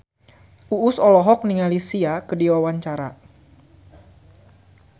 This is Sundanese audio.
Uus olohok ningali Sia keur diwawancara